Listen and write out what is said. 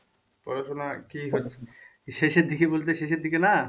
পড়াশোনা কি শেষের দিকে বলতে শেষের দিকে না?